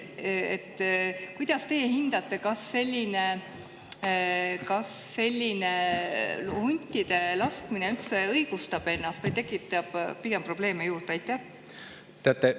Kuidas teie hindate, kas selline huntide laskmine üldse õigustab ennast või tekitab pigem probleeme juurde?